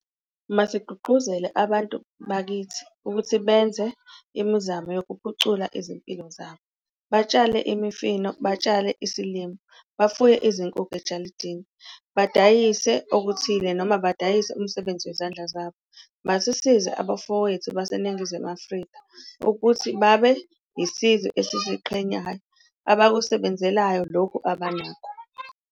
Masigqugquzele abantu bakithi ukuthi benze imizamo yokuphucula izimpilo zabo - batshale imifino, batshale isilimo, bafuye izinkukhu ejalidini, badayise okuthile noma badayise umsebenzi wezandla zabo. Masisize abafowethu baseNingizimu Afrika ukuthi babe yisizwe esiziqhenyayo abakusebenzelayo lokhu abanako.